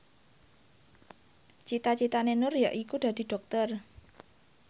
cita citane Nur yaiku dadi dokter